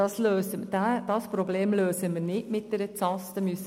Dieses Problem lösen wir nicht mit einer Ausnüchterungsstelle.